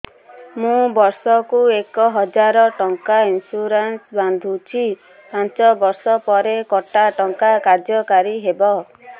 ମୁ ବର୍ଷ କୁ ଏକ ହଜାରେ ଟଙ୍କା ଇନ୍ସୁରେନ୍ସ ବାନ୍ଧୁଛି ପାଞ୍ଚ ବର୍ଷ ପରେ କଟା ଟଙ୍କା କାର୍ଯ୍ୟ କାରି ହେବ